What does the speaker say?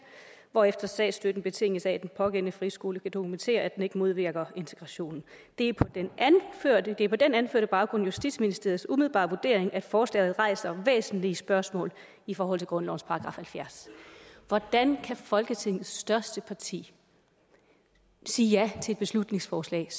hvorefter statsstøtten betinges af at den pågældende friskole kan dokumentere at den ikke modvirker integrationen det er på den anførte baggrund justitsministeriets umiddelbare vurdering at forslaget rejser væsentlige spørgsmål i forhold til grundlovens § halvfjerds hvordan kan folketingets største parti sige ja til et beslutningsforslag